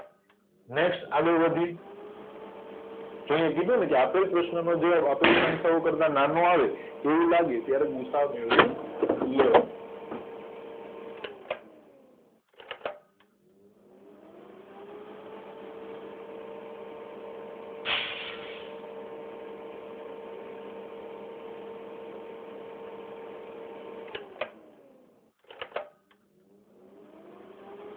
next આગણ વધ્યે જો આયા કીધુને આપેલ પ્રશ્નનનો જવાબ આપેલ સંખ્યાઓ કરતા નાનો આવે એવું લાગે ત્યારે ગુસાઅ મેળવી લેવાનો